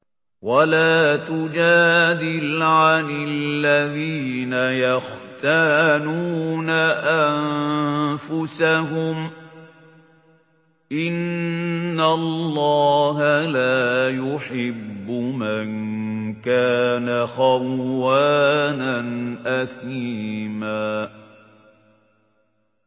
وَلَا تُجَادِلْ عَنِ الَّذِينَ يَخْتَانُونَ أَنفُسَهُمْ ۚ إِنَّ اللَّهَ لَا يُحِبُّ مَن كَانَ خَوَّانًا أَثِيمًا